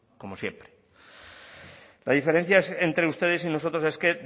como siempre la diferencia entre ustedes y nosotros es que